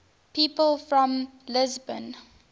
people from lisbon